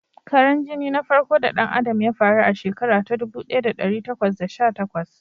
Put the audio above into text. Karan jini na farko da ɗan Adam ya faru a shekara ta ɗubu ɗaya da ɗari takwas da sha takwas.